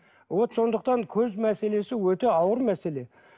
вот сондықтан көз мәселесі өте ауыр мәселе